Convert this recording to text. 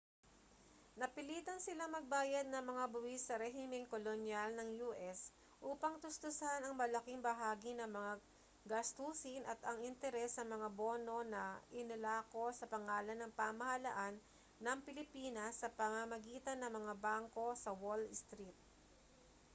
napilitan silang magbayad ng mga buwis sa rehimeng kolonyal ng u.s. upang tustusan ang malaking bahagi ng mga gastusin at ang interes sa mga bono na inilako sa pangalan ng pamahalaan ng pilipinas sa pamamagitan ng mga bangko sa wall street